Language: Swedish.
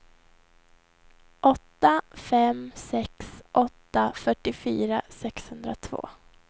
åtta fem sex åtta fyrtiofyra sexhundratvå